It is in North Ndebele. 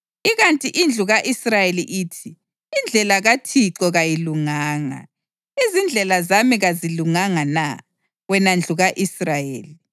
Ikanti indlu ka-Israyeli ithi, ‘Indlela kaThixo kayilunganga.’ Izindlela zami kazilunganga na, wena ndlu ka-Israyeli?